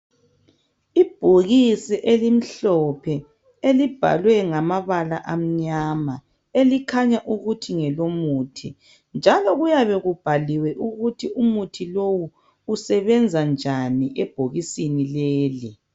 Ibhokisi elimhlophe elibhalwe ngamabala amnyama elikhanya ukuthi ngelomuthi njalo kuyabe kubhaliwe ukuthi umuthi lowo usebenza njani ebhokisi leli